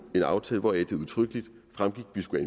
en aftale hvoraf det udtrykkelig fremgik at vi skulle